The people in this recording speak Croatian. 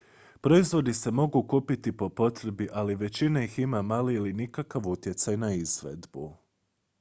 proizvodi se mogu kupiti po potrebi ali većina ih ima mali ili nikakav utjecaj na izvedbu